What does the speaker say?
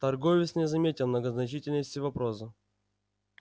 торговец не заметил многозначительности вопроса